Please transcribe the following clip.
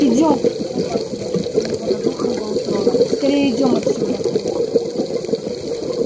идём раздался у него над ухом голос рона скорее идём отсюда